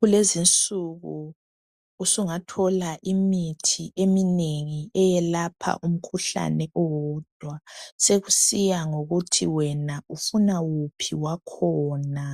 Kulezi insuku usungathola imithi eminengi eyelapha umkhuhlane owodwa. Sokusiya ngokuthi wena ufuna wuphi wakhona